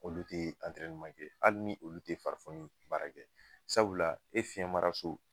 Olu tɛ kɛ hali ni olu tɛ farifoni baara kɛ. Sabula e fiyɛnmaraso